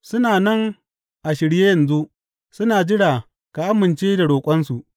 Suna nan a shirye yanzu, suna jira ka amince da roƙonsu.